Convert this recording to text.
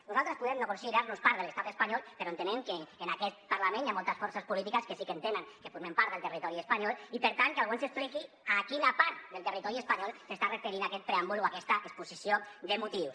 nosaltres podem no considerar nos part de l’estat espanyol però entenem que en aquest parlament hi ha moltes forces polítiques que sí que entenen que formem part del territori espanyol i per tant que algú ens expliqui a quina part del territori espanyol s’està referint aquest preàmbul o aquesta exposició de motius